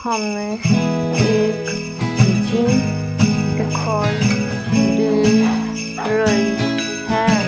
हमें एक जिम दिखाई दे रही है।